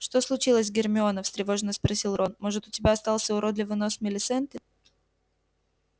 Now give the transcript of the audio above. что случилось гермиона встревоженно спросил рон может у тебя остался уродливый нос милисенты